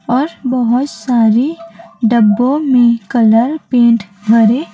और बहोत सारे डब्बों में कलर पेंट भरे--